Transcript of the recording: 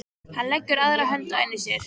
Hann leggur aðra hönd á enni sér.